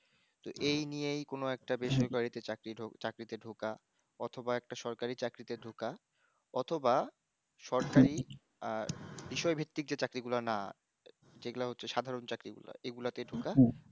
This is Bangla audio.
ত এই নিয়ে কোনও একটা বেসরকারিতে চাকরিটো চাকরিতে ঢোকা অথবা একটা সরকারি চাকরিতে ঢোকা অথবা সরকারি আহ বিষয় ভিত্তিক যে চাকরি গুলা না যেগুলো হচ্ছে সাধারন চাকরি গুলা এগুলা তে ঢোকা